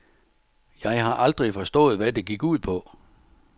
Jeg har aldrig forstået, hvad det gik ud på.